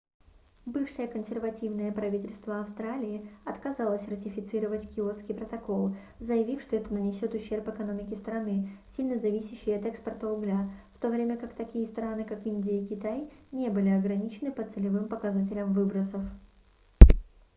бывшее консервативное правительство австралии отказалось ратифицировать киотский протокол заявив что это нанесёт ущерб экономике страны сильно зависящей от экспорта угля в то время как такие страны как индия и китай не были ограничены по целевым показателям выбросов